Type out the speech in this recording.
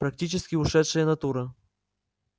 практически ушедшая натура